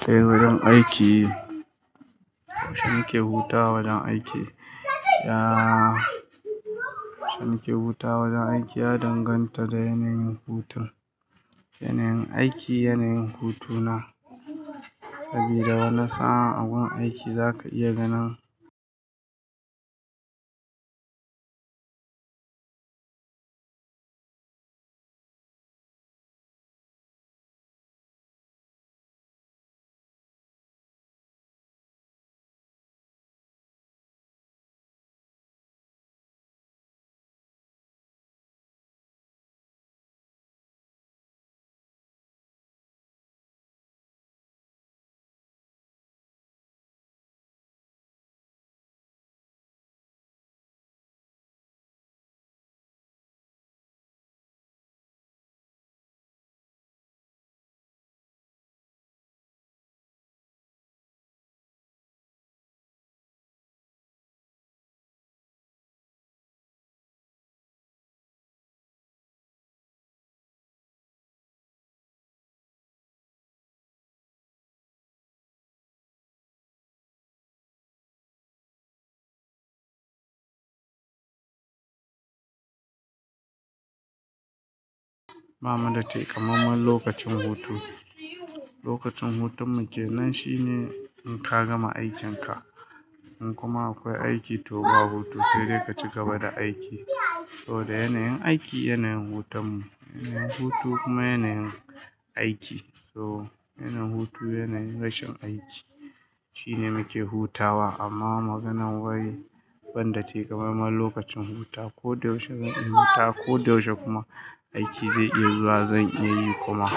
Tai wajen aiki, shani ke hutawa wajen aiki ya shani ke hutawa wajen aiki ya danganta da yanayin hutun. Yanayin aiki, yanayin hutuna sabida wani sa'a a gun aiki zaka iya ganin, ba mu takamaiman lokacin hutu. Lokacin hutun mu kenan shine in ka gama aikinka, in kuma akwai aiki to ba hutu sai dai ka ci gaba da aiki. Sabo da yanayin aiki yanayin hutun mu, yanayin hutu kuma yanayin aiki. So yanayin hutu yanayin rashin aiki shine muke hutawa amma maganar wai banda takamaiman lokacin huta ko da yaushe zan iya huta ko da yaushe kuma aiki zai iya zuwa zan iya yi kuma.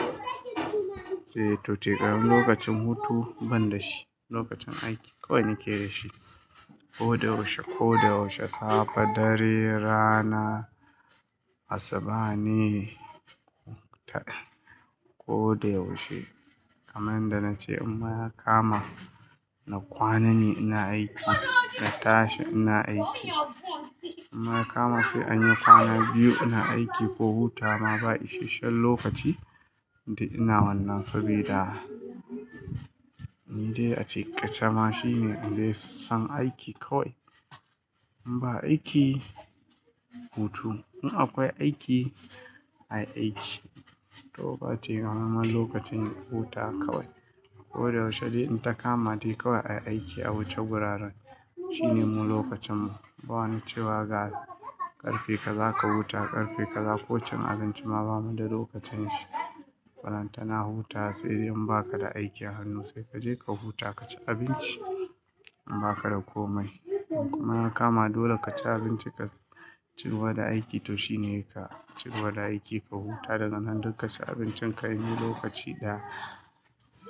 Sai to takamaiman lokacin hutu banda shi lokacin aiki kawai nake da shi ko da yaushe, ko da yaushe. Safe, dare, rana, asubahne, ko ta ko da yaushe. Kaman da nace imma ya kama na kwanane ina aiki, na tashi ina aiki. Lmma ya kama sai anyi kwana biyu ina aiki ko hutawa ba isashen lokaci duk ina wannan sabida ni dai a ciƙashe ma shine inda ya sassan aiki kawai. In ba aiki, hutu. In akwai aiki, ayi aiki to ba takamaiman lokacin huta kawai. Ko da yaushe dai in ta kama dai kawai ayi aiki a wuce wuraren shine mu lokacin mu. Ba wani cewa ga ƙarfe ka zaka huta ƙarfe ka za-- kocin abinci ma bamu da lokacin shi. Balanta na hutawa sai idan baka da aiki a hannu sai kaje ka huta ka ci abinci in baka da komai. Kuma ya kama dole ka ci abinci ka ci gaba aiki to shine ka ci gaba aiki ka huta da ga nan duka ka ci abincin ka yini lokaci da s-